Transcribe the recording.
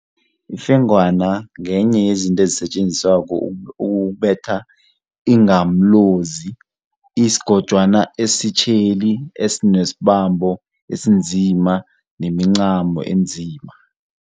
Ifengwana ngenye yezinto esetjenziswako ukubetha ingamlozi isigojwana esitjheli esinesibambo esinzima nemincamo enzima.